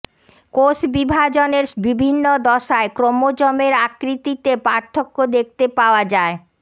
কোষ বিভাজনের বিভিন্ন দশায় ক্রোমোজোমের আকৃতিতে পার্থক্য দেখতে পাওয়া যায়